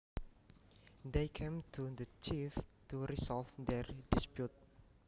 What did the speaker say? They came to the chief to resolve their dispute